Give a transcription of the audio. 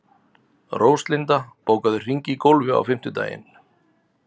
Róslinda, bókaðu hring í golf á fimmtudaginn.